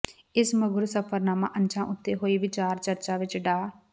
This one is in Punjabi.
ਇਸ ਮਗਰੋਂ ਸਫ਼ਰਨਾਮਾ ਅੰਸ਼ਾਂ ਉੱਤੇ ਹੋਈ ਵਿਚਾਰ ਚਰਚਾ ਵਿੱਚ ਡਾ